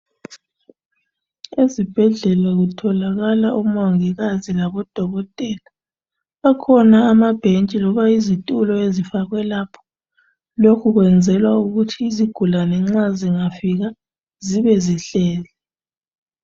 Ezibhedlela kutholakala umongikazi labodokotela. Akhona amabhentshi loba izitulo ezifakwe lapha. Lokhu kuyenzekwa ukuthi izigulane nxa zingafika zibe zihleli.